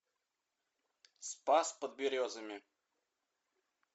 спас под березами